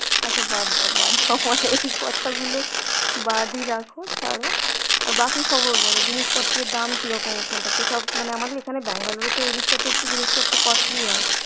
আচ্ছা বাদ দাও বাদ দাও তোমার এই কথাগুলো বাদি রাখো ছাড়ো. আর বাকি খবর বল জিনিসপত্রের দাম কিরকম ওখানটাতে? সব মানে আমাদের এখানে ব্যাঙ্গালোরে তো এদিকটা তে একটু জিনিসপত্র costly হয়